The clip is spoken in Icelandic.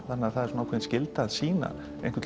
það er skylda að sýna